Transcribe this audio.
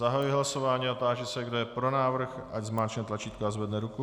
Zahajuji hlasování a táži se, kdo je pro návrh, ať zmáčkne tlačítko a zvedne ruku.